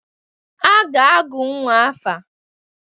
A ga-agụ nnwa afa.